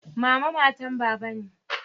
Mama matan baba ne.